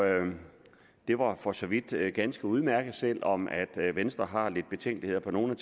det var for så vidt ganske udmærket selv om venstre har lidt betænkeligheder på nogle